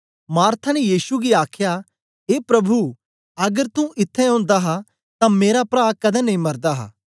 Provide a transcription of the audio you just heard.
Martha ने यीशु गी आखया ए प्रभु अगर तू इत्थैं ओंदा हा तां मेरा प्रा कदें नेई मरदा